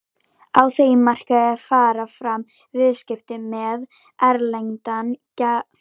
Á þeim markaði fara fram viðskipti með erlendan gjaldeyri í skiptum fyrir krónur.